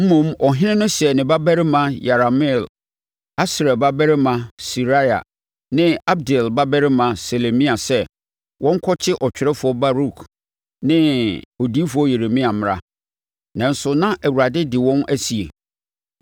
Mmom ɔhene no hyɛɛ ne babarima Yerahmeel, Asriel babarima Seraia ne Abdeel babarima Selemia sɛ, wɔnkɔkye ɔtwerɛfoɔ Baruk ne odiyifoɔ Yeremia mmra. Nanso, na Awurade de wɔn asie.